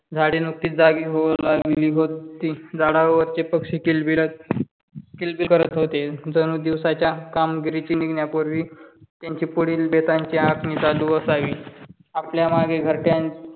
झाडे नुकतीच जागी होऊ लागली होती. झाडावरचे किलबिलत किलबिल करत होते. जणू दिवसाच्या कामगिरीची निघण्यापूर्वी त्यांची पुढील बेतांची आखणी चालू असावी. आपल्या मागे घरट्यात